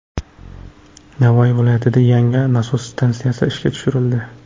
Navoiy viloyatida yangi nasos stansiyasi ishga tushirildi.